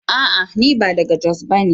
A'a! ni ba daga jos bane.